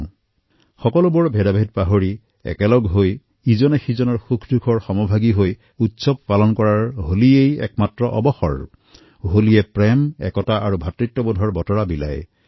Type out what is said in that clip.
হোলী সকলো বিদ্বেষ পাহৰি একলগ হৈ পৰস্পৰে পৰস্পৰৰ সুখআনন্দৰ সহভাগী হোৱাৰ দিন আৰু ই প্ৰেম ঐক্য তথা ভাতৃত্ববোধৰ বাৰ্তা কঢ়িয়াই আনে